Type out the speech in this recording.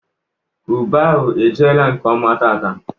Ube ahụ ejiela nkeọma taata.